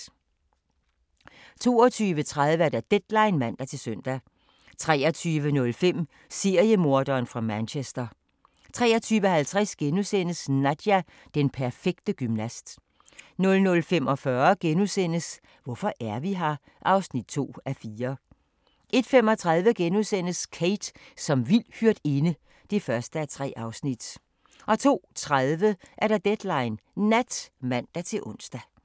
22:30: Deadline (man-søn) 23:05: Seriemorderen fra Manchester 23:50: Nadia – den perfekte gymnast * 00:45: Hvorfor er vi her? (2:4)* 01:35: Kate som vild hyrdinde (1:3)* 02:30: Deadline Nat (man-ons)